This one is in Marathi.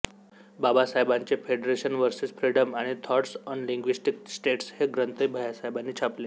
बाबासाहेबांचे फेडरेशन वर्सेस फ्रिडम आणि थॉट्स ऑन लिंग्विस्टीक स्टेट्स हे ग्रंथही भैय्यासाहेबांनी छापले